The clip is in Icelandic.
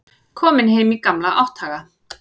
Kominn heim í gamla átthaga.